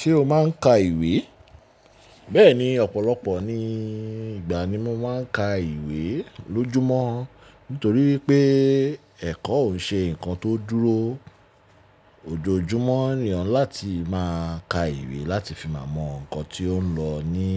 Ṣé o máa ń ka ìwé? Bẹ́ẹ̀ni, ọ̀pọ̀lọpọ̀ ní ìgbà ni mo máa ń ka ìwé lójúmọ́ nítorí pé ẹ̀kọ́ ò ṣe ǹkan tó dúró. Òjò júmọ́ nìyàn láti máa ka ìwé láti fi máa mọ ǹkan tí ó ń lọ ní